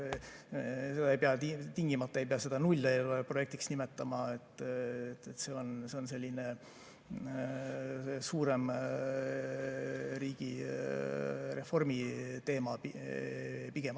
Ja seda tingimata ei pea nulleelarveprojektiks nimetama, see on selline suurem riigireformi teema pigem.